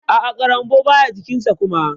A'a ƙarambau baya jikin sa kuma.